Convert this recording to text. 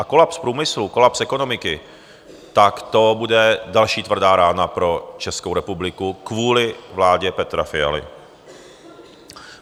A kolaps průmyslu, kolaps ekonomiky, tak to bude další tvrdá rána pro Českou republiku kvůli vládě Petra Fialy.